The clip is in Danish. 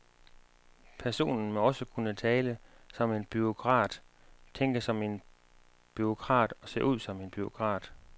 Personen må også kunne tale som en bureaukrat, tænke som en bureaukrat og se ud som en bureaukrat